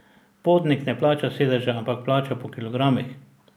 Potnik ne plača sedeža, ampak plača po kilogramih.